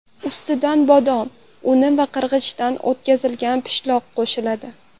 Ustidan bodom uni va qirg‘ichdan o‘tkazilgan pishloq qo‘shiladi.